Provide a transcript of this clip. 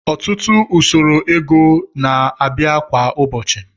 Ọtụtụ usoro ego na-abịa kwa ụbọchị